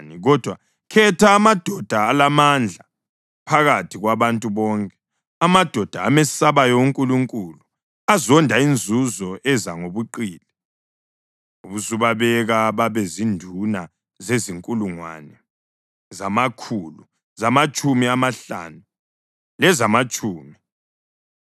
Kodwa khetha amadoda alamandla phakathi kwabantu bonke, amadoda amesabayo uNkulunkulu, azonda inzuzo eza ngobuqili, ubusubabeka babe zinduna zezinkulungwane, zamakhulu, zamatshumi amahlanu, lezamatshumi.